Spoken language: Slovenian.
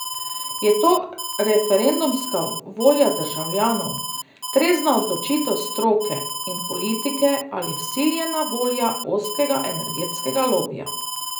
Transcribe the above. Je to referendumska volja državljanov, trezna odločitev stroke in politike ali vsiljena volja ozkega energetskega lobija?